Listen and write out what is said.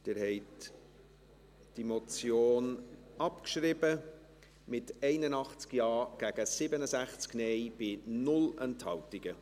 Sie haben diese Motion abgeschrieben, mit 81 Ja- gegen 67 Nein-Stimmen bei 0 Enthaltungen.